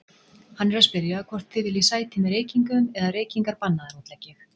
Hann er að spyrja hvort þið viljið sæti með reykingum eða reykingar bannaðar, útlegg ég.